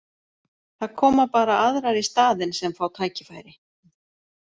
Það koma bara aðrar í staðinn sem fá tækifæri.